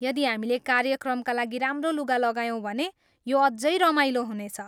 यदि हामीले कार्यक्रमका लागि राम्रो लुगा लगायौँ भने यो अझै रमाइलो हुनेछ।